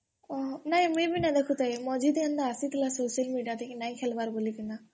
ନାଇଁ ମୁଇଁ ବି ନାଇଁ ଦେଖୁ ଥାଇଁ ମଝିରେ ଆସିଥିଲା social media ରେ କି ନାଇଁ ଖେଲ୍ ବାର୍ ବୋଲି କିନା